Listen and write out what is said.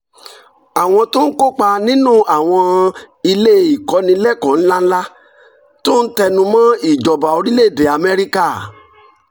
àwọn tó ń kópa nínú àwọn ilé ìkọ́nilẹ́kọ̀ọ́ ńláńlá tún ń tẹnu mọ́ ìjọba orílẹ̀-èdè amẹ́ríkà